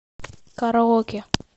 караоке